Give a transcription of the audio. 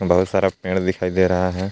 बहोत सारा पेड़ दिखाई दे रहा है।